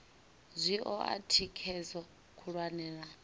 zwi oa thikhedzo khulwane na